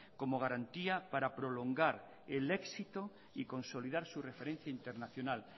como garantía para prolongar el éxito y consolidar su referencial internacional